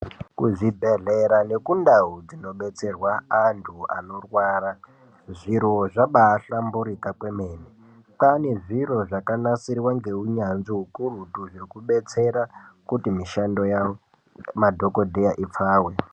Kuzvibhehlera nekundau dzinodetserwa antu anorwara zviro zvabahlamburuka kwemene. Kwane zviro zvakanasirwa neuyanzvi ukurutu zvekudetsera kuti mushando yavo madhokodheya ipfave.